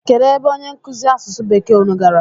Kedụ ebe onye nkụzi asụsụ bekee unu gara?